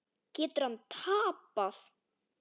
Getur hann tapað!